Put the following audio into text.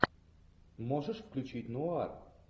можешь включить нуар